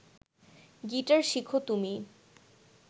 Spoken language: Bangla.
গিটার শিখ তুমি